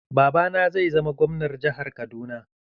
Babana zai zama Gwamnar jihar Kaduna.